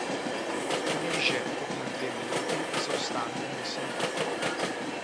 Bližje kot na dve minuti zaostanka niso mogli.